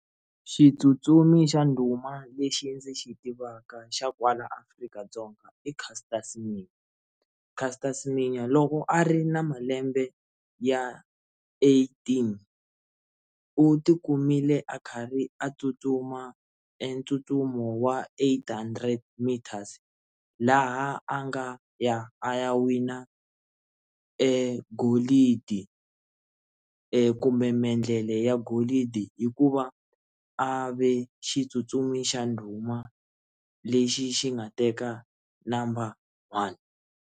Xitsutsumi xa ndhuma lexi ndzi xi tivaka xa kwala Afrika-Dzonga i Caster Semenya, Caster Semenya loko a ri na malembe ya eighteen u ti kumile a karhi a tsutsuma etsutsumi wa eight hundred meters laha a nga ya a ya wina golidi kumbe maendlele ya golidi hi ku va a ve xitsutsumi xa ndhuma lexi xi nga teka number one.